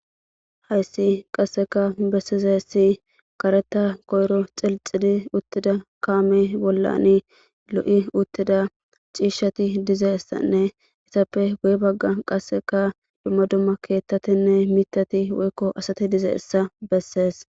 Haysi qaseka besizaysi karetha koyro xilxidi utida kame bolan lo'i utida c'ishati dizaysane izappe guye bagan qaseka duma duma kethatine matati woyko asati dizaysa beses.